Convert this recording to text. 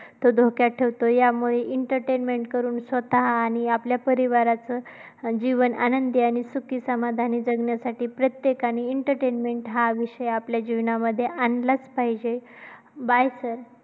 तो धोक्यात ठेवतो. यामुळे entertainment करून स्वतः आणि आपल्या परिवाराचा जीवन आनंदी आणि सुखी समाधानी जगण्यासाठी प्रत्येकाने entertainment हा विषय आपल्या जीवनामध्ये आणलाच पाहिजे. By sir.